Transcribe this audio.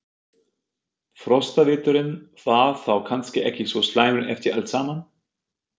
Frostaveturinn var þá kannski ekki svo slæmur eftir allt saman?